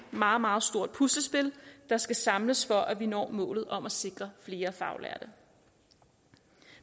meget meget stort puslespil der skal samles for at vi når målet om at sikre flere faglærte